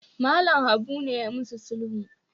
Mallam Habu ne yayi musu sulhu